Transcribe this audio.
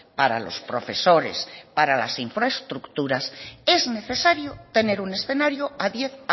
para los profesores para las infraestructuras es necesario tener un escenario a diez